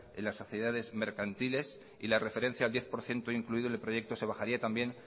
en las sociedades mercantiles y la referencia al diez por ciento incluido en el proyecto se bajaría también